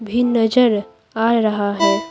भी नजर आ रहा है।